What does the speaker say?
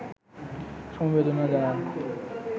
সমবেদনা জানান